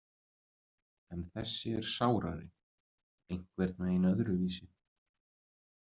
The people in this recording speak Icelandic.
En þessi er sárari, einhvern veginn öðruvísi.